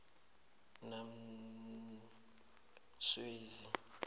namzwezi